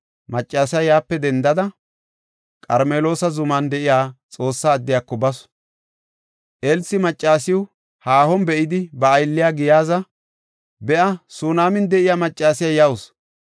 Maccasiya yaape dendada, Qarmeloosa zuman de7iya Xoossa addiyako basu. Elsi maccasiya haahon be7idi, ba aylliya Giyaaza, “Be7a, Sunaaman de7iya maccasiya yawusu.